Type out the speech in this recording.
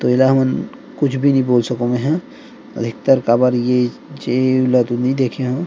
तो एला हमन कुछ भी नइ बोल सकव मेह अधिकत काबर जीव ल तो नि देखे हव।